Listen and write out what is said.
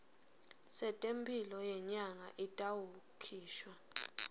setemphilo yenyama itawukhishwa